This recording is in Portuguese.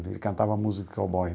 Ele cantava música de cowboy.